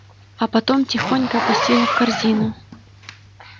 а потом тихонько опустила в корзину